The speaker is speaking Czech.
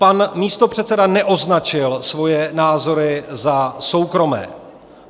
Pan místopředseda neoznačil svoje názory za soukromé.